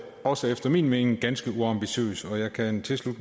også efter min mening ganske uambitiøst og jeg kan tilslutte